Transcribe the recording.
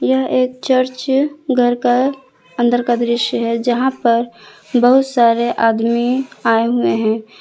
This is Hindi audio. यह एक चर्च घर का अंदर का दृश्य है जहां पर बहुत सारे आदमी आए हुए है।